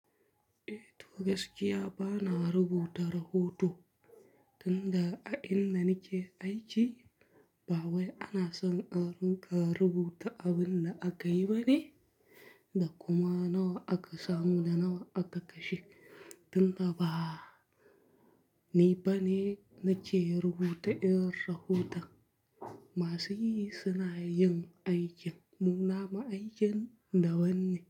Eh, to gaskiya bana rubuta rahoto. Tun da a inda nake aiki, ba wai ana son a rinƙa rubuta abin da aka yi bane, da kuma nawa aka samu da nawa aka kashe. Tun da ba ni bane nake rubuta irin rahoton, masu yi suna yin aikin, mu na ma'aikin dabanne.